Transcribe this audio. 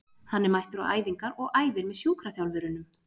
Hann er mættur á æfingar og æfir með sjúkraþjálfurunum.